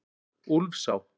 Úlfsá